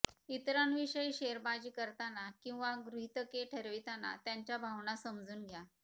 इतरांविषयी शेरेबाजी करताना किंवा गृहितके ठरविताना त्यांच्या भावना समजून घ्या